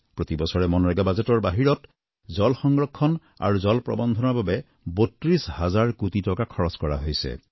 প্ৰতিবছৰে মনৰেগা বাজেটৰ বাহিৰত জল সংৰক্ষণ আৰু জল প্ৰৱন্ধনৰ বাবে ৩২ হাজাৰ কোটি টকা খৰচ কৰা হৈছে